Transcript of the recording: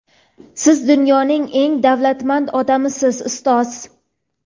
Siz dunyoning eng davlatmand odamisiz - ustoz!.